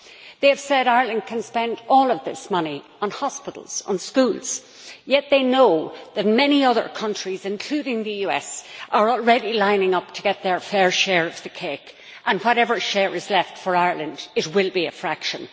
They have said Ireland can spend all of this money on hospitals and schools, yet they know that many other countries, including the US are already lining up to get their fair share of the cake, and that whatever share is left for Ireland will be a fraction.